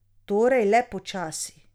Torej le počasi.